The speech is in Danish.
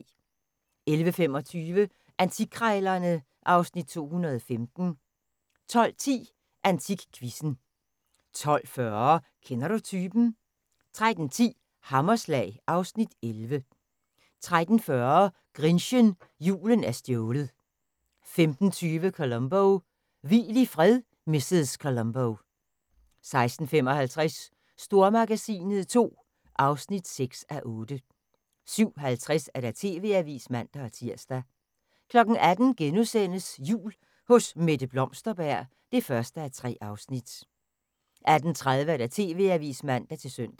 11:25: Antikkrejlerne (Afs. 215) 12:10: AntikQuizzen 12:40: Kender du typen? 13:10: Hammerslag (Afs. 11) 13:40: Grinchen – Julen er stjålet 15:20: Columbo: Hvil i fred, mrs. Columbo 16:55: Stormagasinet II (6:8) 17:50: TV-avisen (man-tir) 18:00: Jul hos Mette Blomsterberg (1:3)* 18:30: TV-avisen (man-søn)